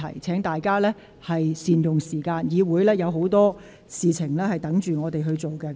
請議員善用時間，本會仍有很多事務尚待處理。